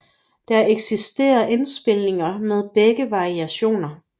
Der eksisterer indspilninger med begge variationer